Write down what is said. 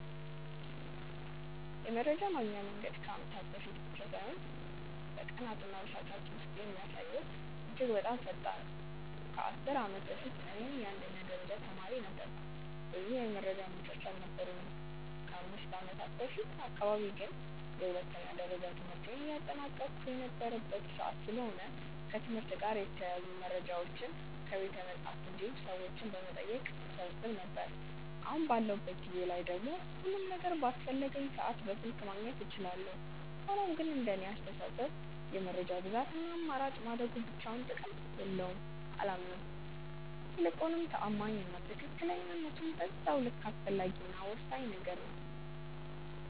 የመረጃ የማግኛ መንገድ ከአመታት በፊት ብቻ ሳይሆን በቀናት እና በሰዓታት ውስጥ የሚያሳየው እድገት በጣም ፈጣን ነው። ከ10 አመት በፊት እኔ የአንደኛ ደረጃ ተማሪ ነበርኩ ብዙ የመረጃ ምንጮች አልነበሩኝም። ከ5ከአመት በፊት አካባቢ ግን የሁለተኛ ደረጃ ትምህርቴን እያጠናቀቅሁ የነበረበት ሰዓት ስለሆነ ከትምህርት ጋር የተያያዙ መረጃዎችን ከቤተመፅሀፍት እንዲሁም ሰዎችን በመጠየቅ እሰበስብ ነበር። አሁን ባለሁበት ጊዜ ላይ ደግሞ ሁሉም ነገር በአስፈለገኝ ሰዓት በስልክ ማግኘት እችላለሁ። ሆኖም ግን እንደኔ አስተሳሰብ የመረጃ ብዛት እና አማራጭ ማደጉ ብቻውን ጥቅም አለው ብዬ አላምንም። ይልቁንም ተአማኒ እና ትክክለኝነቱም በዛው ልክ አስፈላጊ እና ወሳኝ ነገር ነው።